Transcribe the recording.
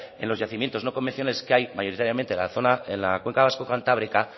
en los yacimientos no convenciones que hay mayoritariamente en la cuenca vasco cantábrica